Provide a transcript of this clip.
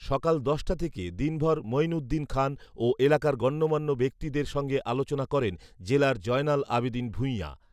সকাল দশটা থেকে দিনভর মইন উদ্দিন খান ও এলাকার গণ্যমান্য ব্যক্তিদের সঙ্গে আলোচনা করেন জেলার জয়নাল আবেদীন ভূঁইঞা